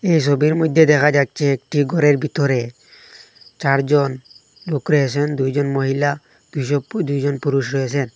এই সবির মইধ্যে দেখা যাচ্ছে একটি ঘরের ভিতরে চারজন লুক রয়েসেন দুইজন মহিলা দুজ পু দুইজন পুরুষ রয়েসেন।